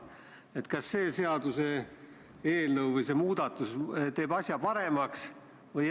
Esiteks see, et sõjakuritegude suhtes ei ole nad puhtad poisid.